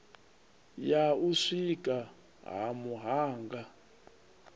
ya u sikwa ha muhanga